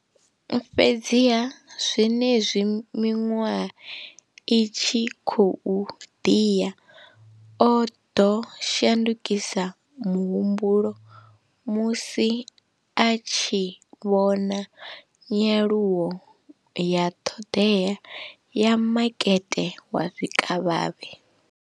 Fhedziha, zwenezwi miṅwaha i tshi khou ḓi ya, o ḓo shandukisa muhumbulo musi a tshi vhona nyaluwo ya ṱhoḓea ya makete wa zwikavhavhe.